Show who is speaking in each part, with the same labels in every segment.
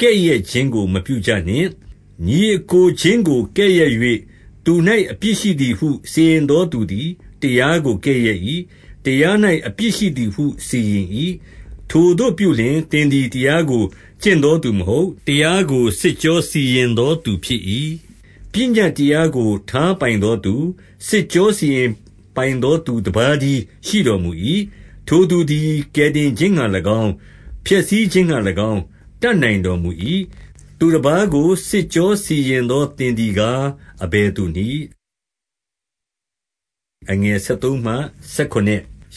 Speaker 1: ကဲ့ရဲ့ခြင်းကိုမပြုကြနှင့်။ ညီအစ်ကိုချင်းကို ကဲ့ရဲ့၍၊ သူ၌အပြစ်ရှိသည်ဟု စီရင်သောသူသည် တရားကို ကဲ့ရဲ့၏။ တရား၌အပြစ်ရှိသည်ဟုစီရင်၏။ ထိုသို့ပြုလျှင်၊ သင်သည်တရားကို ကျင့်သောသူမဟုတ်၊ တရားကို စစ်ကြောစီရင်သောသူဖြစ်၏။ 12 ပညတ်တရားကို ထားပိုင်သောသူ၊ စစ်ကြောစီရင်ပိုင်သောသူ တပါးတည်းရှိတော်မူ၏။ ထိုသူသည် ကယ်တင်ခြင်းငှါ၎င်း၊ ဖျက်ဆီးခြင်းငှါ၎င်း၊ တတ်နိုင်တော်မူ၏။ သူတပါးကိုစစ်ကြောစီရင်သောသင်သည်ကား အဘယ်သူနည်း။ 13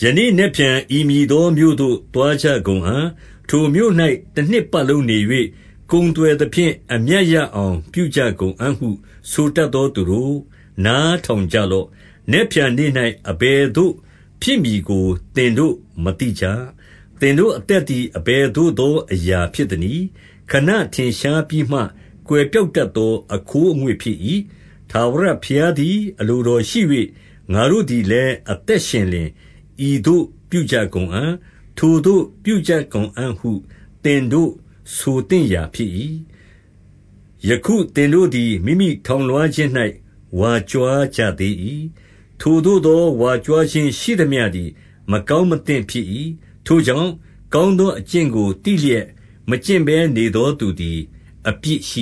Speaker 1: ယနေ့ နက်ဖြန် ဤမည်သောမြို့သို့ သွားကြကုန်အံ့။ ထိုမြို့၌ တနှစ်ပတ်လုံးနေ၍ ကုန်သွယ်သဖြင့် အမြတ်ရအောင် ပြုကြကုန်အံ့ဟု ဆိုတတ်သောသူတို့၊ နားထောင်ကြလော့။ 14 နက်ဖြန်နေ့၌အဘယ်သို့ ဖြစ်မည်ကိုသင်တို့မသိကြ။ သင်တို့ အသက်သည် အဘယ်သို့သောအရာ ဖြစ်သနည်း။ ခဏထင်ရှားပြီးမှ ကွယ်ပျောက်တတ်သော အခိုးအငွေ့ဖြစ်၏။ 15 ထဝရဘုရားသည် အလိုတော်ရှိ၍၊ ငါတို့သည်လည်းအသက်ရှင်လျှင်၊ ဤသို့ပြုကြကုန်အံ့၊ ထိုသို့ပြုကြ ကုန်အံ့ဟု သင်တို့ဆိုသင့်ရာဖြစ်၏။ 16 ယခုသင်တို့သည် မိမိထောင်လွှားခြင်း၌ ဝါကြွားကြသေး၏။ ထိုသို့သောဝါကြွားခြင်းရှိသမျှသည် မကောင်းမသင့်ဖြစ်၏။ 17 ထိုကြောင့်၊ ကောင်းသောအကျင့်ကို သိလျက် မကျင့်ဘဲနေသော သူသည်အပြစ်ရှိ